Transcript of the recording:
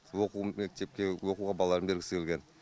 оқуын мектепке оқуға балаларын бергісі келген